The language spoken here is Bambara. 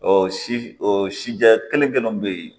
Ɔ si ɔ sijɛ kelen kelenw bɛ yen